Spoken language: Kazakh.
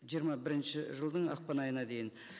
жиырма бірінші жылдың ақпан айына дейін